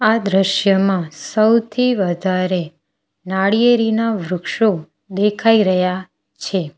આ દ્રશ્યમાં સૌથી વધારે નાળિયેરીના વૃક્ષો દેખાય રહ્યા છે.